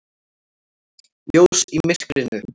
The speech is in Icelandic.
Ljós í myrkrinu.